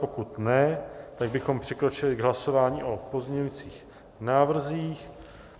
Pokud ne, tak bychom přikročili k hlasování o pozměňovacích návrzích.